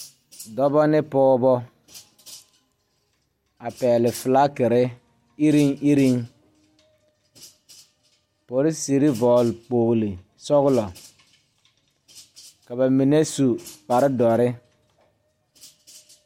Dɔbɔ ne pɔɔbɔ a pɛgle flakire iruŋiruŋ poroserre vɔgle kpogle sɔglɔ ka ba mine su kparedɔre.